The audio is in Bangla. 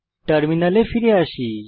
টার্মিনালে ফিরে আসি